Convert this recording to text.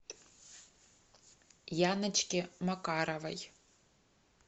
яночке макаровой